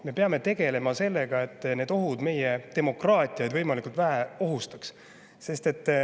Me peame tegelema sellega, et need ohud meie demokraatiat võimalikult vähe ohustaks.